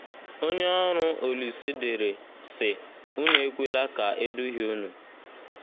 Onye ọrụ Olise dere, sị: Unu ekwela ka e duhie unu.